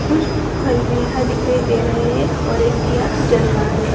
कुछ फल भी यहाँ दिखाई दे रहे हैं और एक दिया जल रहा है।